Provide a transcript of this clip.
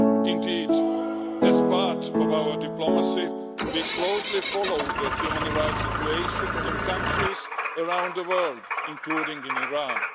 Indeed, as part of our diplomacy, we closely follow the human rights situation in countries around the world, including Iran.